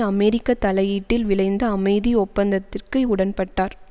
அமெரிக்க தலையீட்டில் விளைந்த அமைதி ஒப்பந்தத்திற்கு உடன்பட்டார்